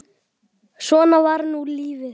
Svona var nú lífið.